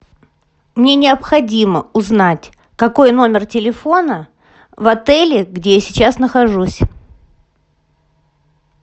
мне необходимо узнать какой номер телефона в отеле где я сейчас нахожусь